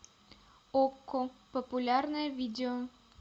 окко популярное видео